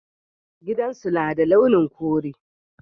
Gidan su na da launin kure.